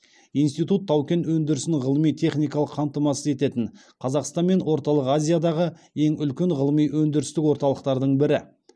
институт тау кен өндірісін ғылыми техникалық қамтамасыз ететін қазақстан мен орталық азиядағы ең үлкен ғылыми өндірістік орталықтардың бірі